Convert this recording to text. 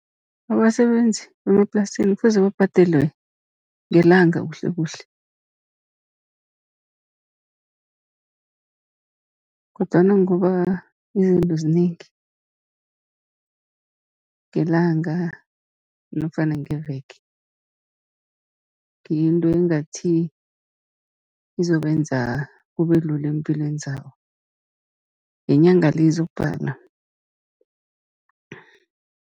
Abasebenzi bemaplasini kufuze babhadelwe ngelanga kuhlekuhle, kodwana ngoba izinto zinengi ngelanga nofana ngeveke. Ngiyo into engathi izobenza kube lula eempilweni zabo, yenyanga le izokubhala.